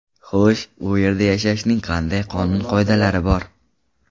Xo‘sh, u yerda yashashning qanday qonun-qoidalari bor?